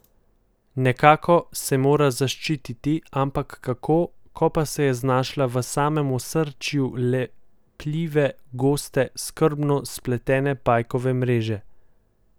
Nekako se mora zaščititi, ampak kako, ko pa se je znašla v samem osrčju lepljive, goste, skrbno spletene pajkove mreže?